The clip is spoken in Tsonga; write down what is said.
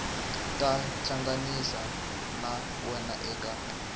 ta tihlanganisa na wena eka